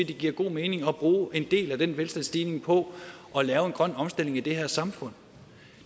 det giver god mening at bruge en del af den velstandsstigning på at lave en grøn omstilling i det her samfund